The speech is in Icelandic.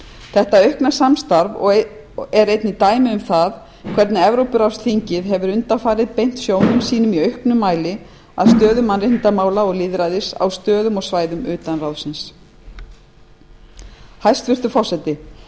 þetta aukna samstarf er einnig dæmi um það hvernig evrópuráðsþingið hefur undanfarið beint sjónum sínum í auknum mæli að stöðu mannréttindamála á stöðum og svæðum utan ráðsins eins og til darfur héraðs í súdan svo dæmi sé tekið hæstvirtur forseti